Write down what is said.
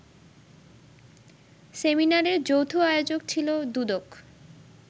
সেমিনারের যৌথ আয়োজক ছিল দুদক